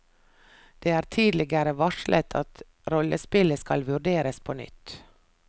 Det er tidligere varslet at rollespillet skal vurderes på nytt.